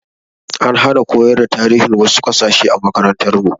An hana koyar da tarihin wasu kasashe a makarantar mu